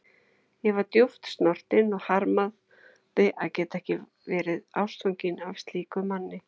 Ég var djúpt snortin og harmaði að geta ekki verið ástfangin af slíkum manni.